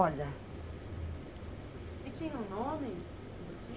Olha... E tinha um nome, a boutique?